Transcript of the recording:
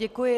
Děkuji.